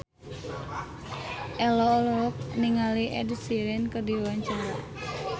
Ello olohok ningali Ed Sheeran keur diwawancara